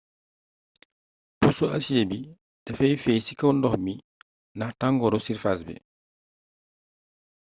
puso asiyee bi dafay feey ci kaw ndox mi ndax tangooru sirfaas bi